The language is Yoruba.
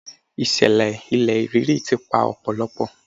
Ìṣẹ̀lẹ̀ ilẹ̀ rírì ti pa ọ̀pọ̀lọpọ̀.